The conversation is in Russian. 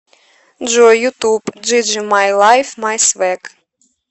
джой ютуб джиджи май лайф май свэг